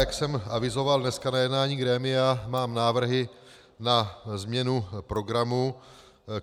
Jak jsem avizoval dnes na jednání grémia, mám návrhy na změnu programu.